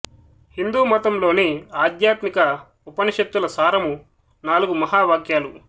హిందూమతం లోని ఆధ్యాత్మిక ఉపనిషత్తుల సారము నాలుగు మహా వాక్యాలు